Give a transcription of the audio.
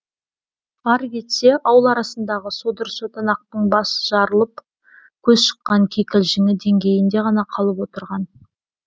ары кетсе ауыл арасындағы содыр сотанақтың бас жарылып көз шыққан кикілжіңі деңгейінде ғана қалып отырған